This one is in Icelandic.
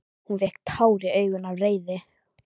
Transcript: Hún fékk tár í augun af reiði.